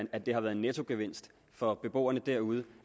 at det har været en nettogevinst for beboerne derude